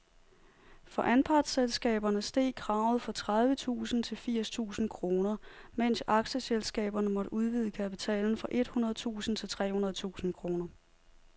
For anpartsselskaberne steg kravet fra tredive tusind til firs tusind kroner, mens aktieselskaberne måtte udvide kapitalen fra et hundrede tusind til tre hundrede tusind kroner.